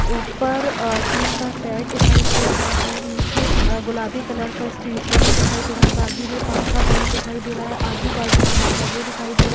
ऊपर अ टीन का सैड दिखाई दे रहा है। नीचे अ गुलाबी कलर का स्टेज बना दिखाई दे रहा है। बाजू में पंखा बना दिखाई दे रहा है। आजू बाजू झाड़ लगे दिखाई दे रहे --